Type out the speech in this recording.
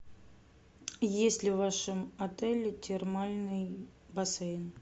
есть ли в вашем отеле термальный бассейн